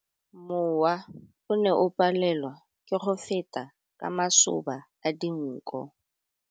Mowa o ne o palelwa ke go feta ka masoba a dinko.